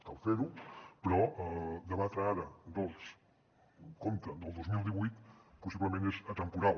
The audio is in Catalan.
cal fer ho però debatre ara el compte del dos mil divuit possiblement és atemporal